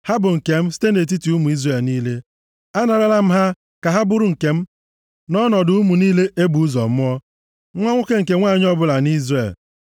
Ha bụ nke m site nʼetiti ụmụ Izrel niile. Anarala m ha ka ha bụrụ nke m nʼọnọdụ ụmụ niile e bụ ụzọ mụọ, nwa nwoke nke nwanyị ọbụla nʼIzrel.